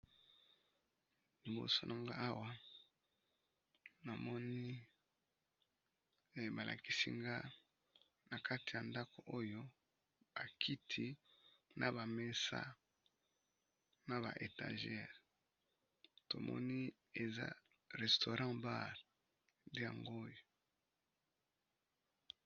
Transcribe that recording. Liboso na nga awa na moni ba lakisi nga na kati ya ndako oyo ba kiti na ba mesa na ba étager tomoni eza restaurant bar nde yango oyo.